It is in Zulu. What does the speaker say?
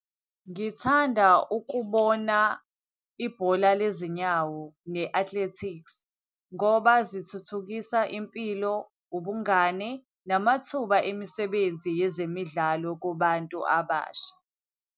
Ngithanda ukubona ibhola lezinyawo, ne-atletics, ngoba zithuthukisa impilo, ubungani, namathuba emisebenzi yezemidlalo kubantu abasha.